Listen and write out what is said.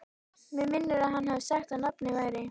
Mig minnir að hann hafi sagt að nafnið væri